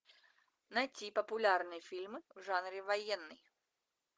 найти популярные фильмы в жанре военный